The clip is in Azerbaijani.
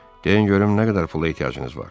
Deyin görüm nə qədər pula ehtiyacınız var?